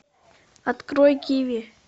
открой киви